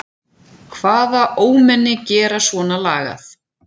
Hvaða ómenni gera svona lagað?